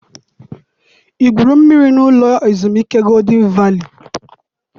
I gwuru mmiri n'ụlọ ezumike Golden Valley?